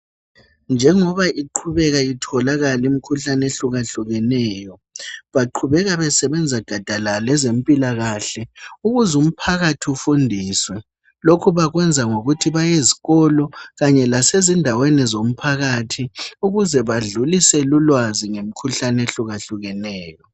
Njengoba iqhubeka itholakala imikhuhlane ehlukahlukeneyo baqhubeka besebenza gadalala ezempilakahle ukuze umphakathi ufundiswe lokhu bakwenza ngokuthi bayezikolo kanye lasezindaweni zomphakathi ukuze badlulise ulwazi ngomkhuhlane ehlukahleneyo.